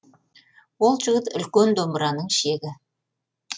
ол жігіт үлкен домбыраның шегі